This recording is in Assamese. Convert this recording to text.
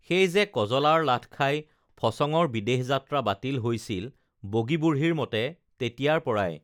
সেই যে কজলাৰ লাথ খাই ফচঙৰ বিদেশ যাত্ৰা বাতিল হৈছিল বগী বুঢ়ীৰ মতে তেতিয়াৰ পৰাই